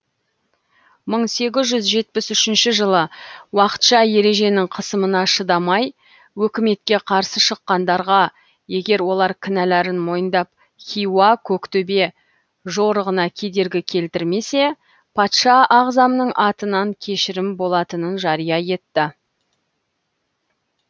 мың сегіз жүз жетпіс үшінші жылы уақытша ереженің қысымына шыдамай өкіметке қарсы шыққандарға егер олар кінәларын мойындап хиуа көктөбе жорығына кедергі келтірмесе патша ағзамның атынан кешірім болатынын жария етті